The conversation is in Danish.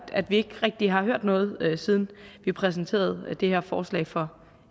at vi ikke rigtig har hørt noget siden vi præsenterede det her forslag for